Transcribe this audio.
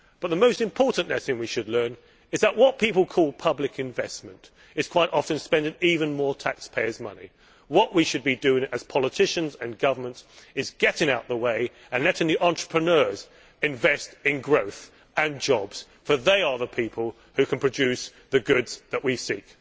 But the most important lesson we should learn is that what people call public investment' is quite often spending even more taxpayers' money. What we should be doing as politicians and governments is getting out of the way and letting the entrepreneurs invest in growth and jobs, for they are the people who can produce the goods that we seek.